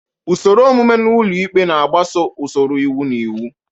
Usoro omume na ụlọ ikpe na-agbaso usoro iwu na iwu.